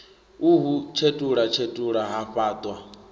u hu tshetulatshetula ha fhatwa